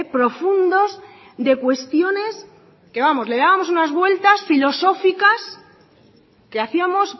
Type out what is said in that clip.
profundos de cuestiones que vamos le dábamos unas vueltas filosóficas que hacíamos